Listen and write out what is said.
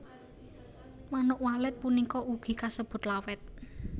Manuk Walet punika ugi kasebut Lawet